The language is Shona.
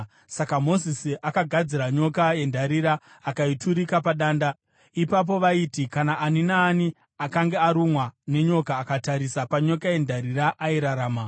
Saka Mozisi akagadzira nyoka yendarira akaiturika padanda. Ipapo vaiti kana ani naani akange arumwa nenyoka, akatarisa panyoka yendarira, airarama.